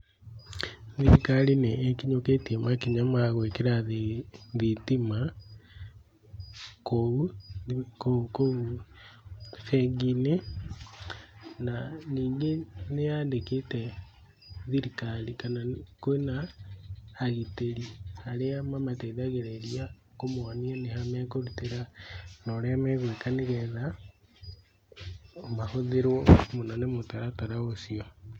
Thirikari nĩ ĩkinyũkĩtie makinya ma gwĩkĩra thitima kou, kũu, kũu bengi-inĩ, na ningĩ nĩ yandĩkĩte thirikari, kana kwĩna agitĩri arĩa mamateithagĩrĩria kũmonia nĩha mekũrutĩra na ũrĩa megwĩka nĩgetha, mahũthĩrwo mũno ni mũtaratara ũcio